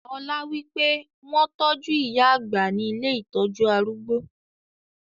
Ọlá wípé; wọn tọju ìyá àgbà ni ilé ìtọ́jú arúgbó.